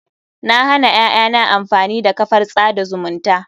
Na hana ƴaƴana amfani da kafar tsada zumunta.